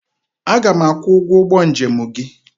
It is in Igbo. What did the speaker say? Aga m akwụ ụgwọ ụgbọ njem gị.